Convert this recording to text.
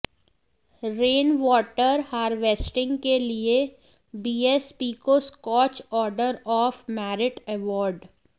rainwater harvesting के लिए BSP को Scotch order of merit award